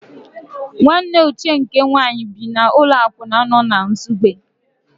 Nwanne Uche nke nwaanyị bi n'ụlọ akwụna nọ na Nsugbe.